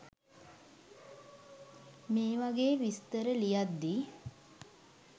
මේ වගේ විස්තර ලියද්දි